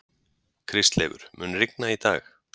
Kristleifur, mun rigna í dag?